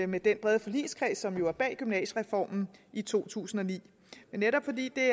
med den brede forligskreds som jo er bag gymnasiereformen i to tusind og ni men netop fordi det